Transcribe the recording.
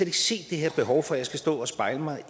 ikke se det her behov for at jeg skal stå og spejle mig